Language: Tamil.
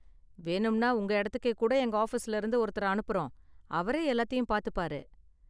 வேணும்னா உங்க இடத்துக்கே கூட எங்க ஆஃபீஸ்ல இருந்து ஒருத்தரை அனுப்புறோம், அவரே எல்லாத்தையும் பாத்துப்பாரு.